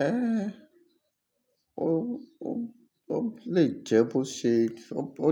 Eh, o, o, o le jẹ bo se, o, o,